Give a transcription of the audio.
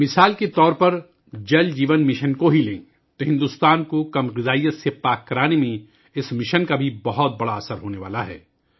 مثال کے طور پر جل جیون مشن کو لے لیجئے، تو یہ مشن بھارت کو تغذیہ کی کمی سے پاک بنانے میں بھی بہت بڑا اثر ڈالنے والا ہے